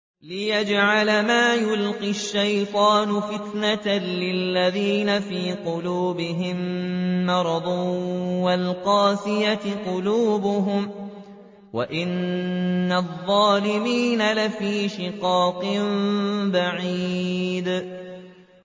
لِّيَجْعَلَ مَا يُلْقِي الشَّيْطَانُ فِتْنَةً لِّلَّذِينَ فِي قُلُوبِهِم مَّرَضٌ وَالْقَاسِيَةِ قُلُوبُهُمْ ۗ وَإِنَّ الظَّالِمِينَ لَفِي شِقَاقٍ بَعِيدٍ